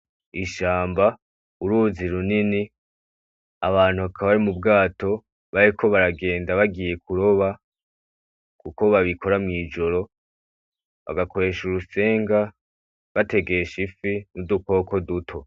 Ishamba, uruzi runini abantu bakaba bari m'ubwato bariko baragenda bagiye kuroba kuko babikora mw'ijoro bagakoresha urutsinga bategesha ifi n'udukoko duto.